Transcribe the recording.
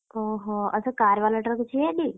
ଓହୋ ଆଉ ସେ car ବାଲାଟାର କିଛି ହେଇନି?